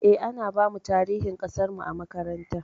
Eh, ana bamu tarihi ƙasarmu a makaranta.